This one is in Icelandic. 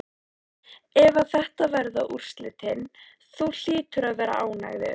Ef að þetta verða úrslitin, þú hlýtur að vera ánægður?